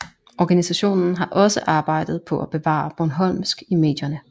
Organisationen har også arbejdet på at bevare bornholmsk i medierne